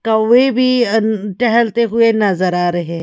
कौवे भी टहलते हुए नजर आ रहे।